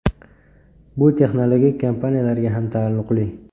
Bu texnologik kompaniyalarga ham taalluqli.